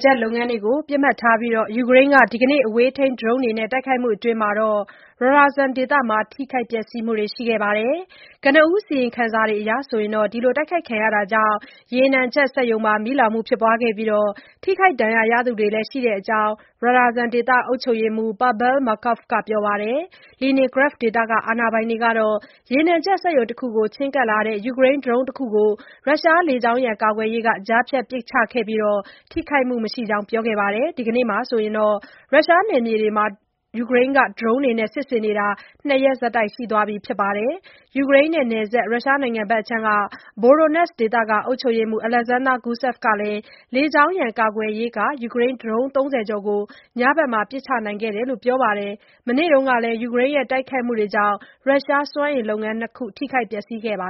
ချက်လုပ်ငန်းတွေကို ပစ်မှတ်ထားပြီး ယူကရိန်းက ဒီကနေ့ အဝေးထိန်းဒရုန်းတွေနဲ့ တိုက်ခိုက်မှုအတွင်း Ryazan ဒေသမှာ ထိခိုက်ပျက်စီးမှုတွေ ရှိခဲ့ပါတယ်။ ကနဦးအစီရင်ခံစာတွေအရ တိုက်ခိုက်ခံရမှုကြောင့် ရေနံချက်စက်ရုံမှာ မီးလောင်မှု ဖြစ်ပွားခဲ့ပြီး ထိခိုက်ဒဏ်ရာရသူတွေ ရှိခဲ့ကြောင်း Ryazan ဒေသ အုပ်ချုပ်ရေးမှူး Pavel Malkov ကပြောပါတယ်။ Leningrad ဒေသ အာဏာပိုင်တွေကတော့ ရေနံချက်စက်ရုံတခုကို ချဉ်းကပ်လာတဲ့ ယူကရိန်းဒရုန်းတခုကို ရုရှားလေကြောင်းရန် ကာကွယ်ရေးက ကြားဖြတ်ပစ်ချခဲ့ပြီး ထိခိုက်မှုမရှိကြောင်း ပြောခဲ့တာပါ။ ဒီနေ့နဲ့ဆိုရင် ရုရှားနယ်မြေတွေမှာ ယူကရိန်းက ဒရုန်းတွေနဲ့ စစ်ဆင်နေတာ ၂ ရက်ဆက်တိုက် ရှိသွားပါပြီ။ ယူကရိန်းနဲ့နယ်စပ် ရုရှားနိုင်ငံ Voronezh ဒေသ အုပ်ချုပ်ရေးမှူး Alexander Gusev ကလည်း လေကြောင်းရန် ကာကွယ်ရေးက ယူကရိန်းဒရုန်း ၃၀ ကျော်ကို ညဖက်မှာ ပစ်ချနိုင်ခဲ့တယ်လို့ ပြောပါတယ်။ မနေ့တုန်းကလည်း ယူကရိန်းရဲ့ တိုက်ခိုက်မှုတွေကြောင့် ရုရှားစွမ်းအင်လုပ်ငန်း ၂ ခု ထိခိုက်ပျက်စီးခဲ့တာပါ